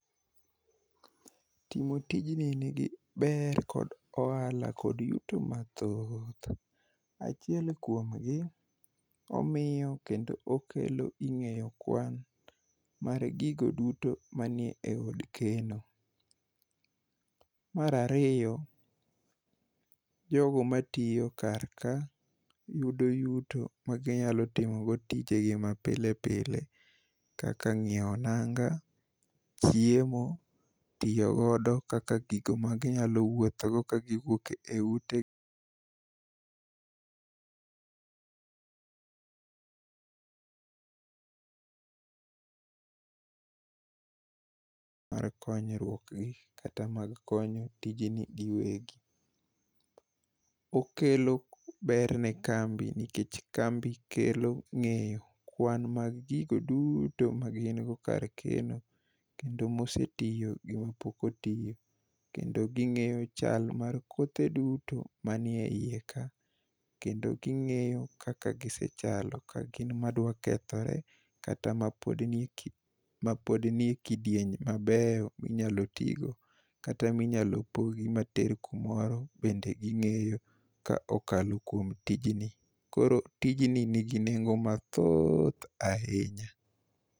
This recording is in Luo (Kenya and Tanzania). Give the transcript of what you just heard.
Timo tijni nigi ber kod ohala kod yuto mathoth. Achiel kuomgi, omiyo kendo okelo ing'eyo kwan mar gigo duto manie od keno. Mar ariyo, jogo matiyo karka yudo yuto maginyalo timogo tijegi mapile pile kaka ng'iewo nanga, chiemo, tiyogodo kaka gigo maginyalo wuothogo kagiwuok e utegi mar konyruokgi kata mag konyo tijeni giwegi. Okelo ber ne kambi nikech kambi kelo ng'eyo kwan mag gigo duto magin go kar keno kendo mosetiyo gi mapok otiyo kendo ging'eyo chal mar kothe duto manie iye ka kendo ging'eyo kaka gisechalo ka gin madwakethore kata mapod nie kidieny mabeyo minyalo tigo kata minyalo pogi mater kumoro bende ging'eyo ka okalo kuom tijni. Koro tijni nigi nengo mathoth ahinya.